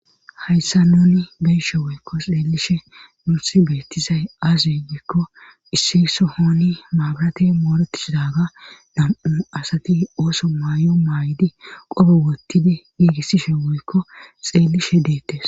hayssa nuni beyshe woykko xeelishe nuuthi beettizay aaze giikko issiso hooni maabarate mooretisdaga dam7u asati ooso maayo maay7di qobe wottidi giigissishe woykko xeelishe deettes